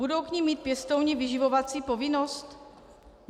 Budou k nim mít pěstouni vyživovací povinnost?